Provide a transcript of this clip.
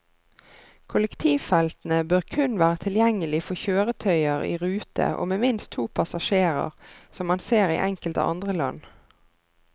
Kollektivfeltene bør kun være tilgjengelig for kjøretøyer i rute og med minst to passasjerer, som man ser i enkelte andre land.